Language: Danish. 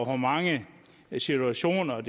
hvor mange situationer